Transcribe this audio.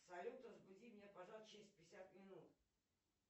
салют разбуди меня пожалуйста через пятьдесят минут